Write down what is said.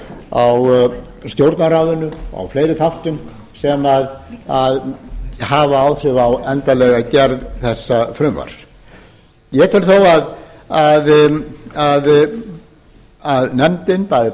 á stjórnarráðinu og fleiri þáttum sem hafa áhrif á endanlega gerð þessa frumvarps ég tel þó að nefndin bæði